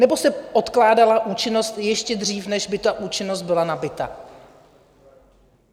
Nebo se odkládala účinnost ještě dříve, než by ta účinnost byla nabyta?